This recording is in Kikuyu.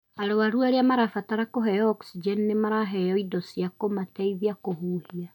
Arũaru arĩa marabatara kũheo oksijeni nĩ maraheo indo cia kũmateithia kũhuhia